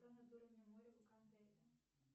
над уровнем моря